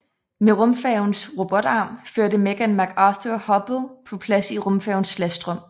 Med rumfærgens robotarm førte Megan McArthur Hubble på plads i rumfærgens lastrum